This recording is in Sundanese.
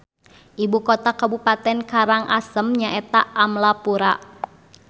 Ibu kota kabupaten Karang Asem nyaeta Amlapura